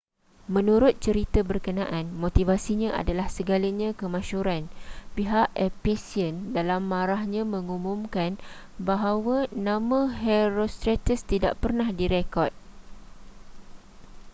menurut cerita berkenaan motivasinya adalah segalanya kemasyhuran pihak ephesian dalam marahnya mengumumkan bahwa nama herostratus tidak pernah direkod